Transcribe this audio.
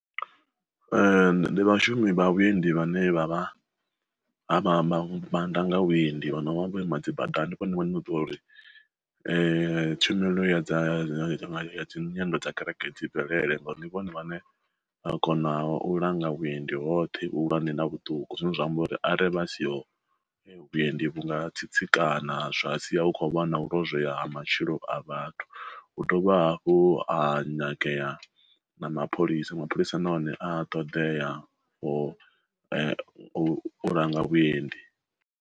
Ndi vhashumi vha vhuendi vhane vha vha na mannḓa nga vhuendi vhana vha vho ima dzi badani vhone vhaṋe na u ḓivha uri tshumelo ya dza data dzi nyendo dza kereke dzi bvelele ngauri ndi vhone vhaṋe vha kona u langa vhuendi hoṱhe vhuhulwane na vhuṱuku zwine zwa amba uri are vha siho vhuendi vhu nga tsitsikana zwa sia u kho wana u lozwea ha matshilo a vhathu. Hu dovha hafhu ha nyangea na mapholisa mapholisa nahone a ṱoḓeaho u langa vhuendi.